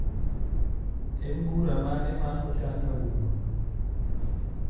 en bura mane ma ochan kawuono